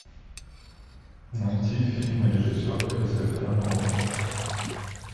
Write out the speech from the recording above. найти фильмы режиссера кристофера нолана